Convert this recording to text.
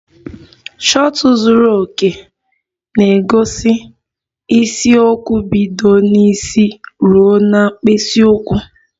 Shọtụ zuru oke na-egosi isiokwu bido n'isi ruo na mkpịsị ụkwụ